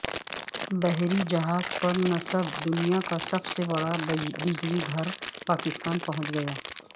بحری جہاز پر نصب دنیا کا سب سے بڑا بجلی گھر پاکستان پہنچ گیا